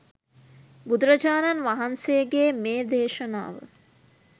බුදුරජාණන් වහන්සේගේ මේ දේශනාව